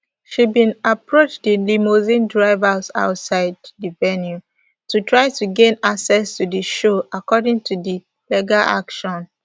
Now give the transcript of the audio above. she bin approach di limousine drivers outside di venue to try to gain access to di show according to di legal action